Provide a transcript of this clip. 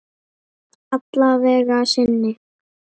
Alla vega að sinni.